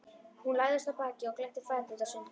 Hún lagðist á bakið og glennti fæturna sundur.